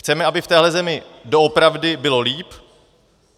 Chceme, aby v téhle zemi doopravdy bylo líp?